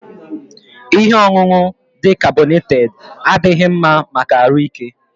Ihe ọṅụṅụ dị carbonated adighi mma maka ahụ ike